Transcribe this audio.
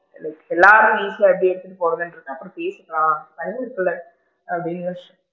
Like எல்லாரும் equal போடுறது அப்படின்றத அப்பறம் பேசிக்கலாம் அப்படின்னு யோசிச்சு,